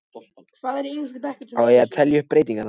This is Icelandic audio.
Á ég að telja upp breytingarnar?